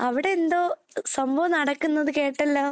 അവിടെ എന്തോ സംഭവം നടക്കുന്നത് കേട്ടല്ലോ.